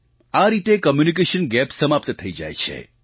આ રીતે communication gap સમાપ્ત થઈ જાય છે